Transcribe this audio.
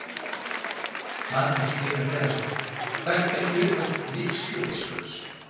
Magnús Hlynur Hreiðarsson: Hvert er hlutverk vígslubiskups?